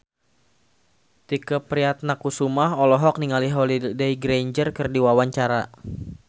Tike Priatnakusuma olohok ningali Holliday Grainger keur diwawancara